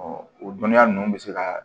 o dɔnniya ninnu bɛ se ka